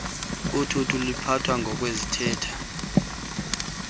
uthuthu luphathwa ngokwezithethe